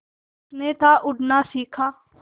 उसने था उड़ना सिखा